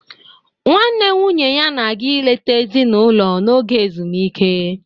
Nwanne nwunye ya na-aga eleta ezinụlọ n'oge ezumike.